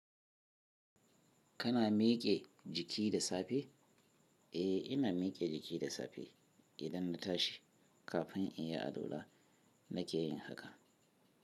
Kana miƙe jiki da safe? Eh, ina miƙe jiki da safe idan na tashi kafin in yi alwala nake yin haka.